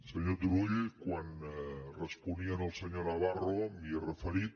senyor turull quan responia al senyor navarro m’hi he referit